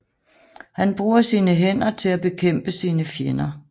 Han bruger sine hænder til at bekæmpe sine fjender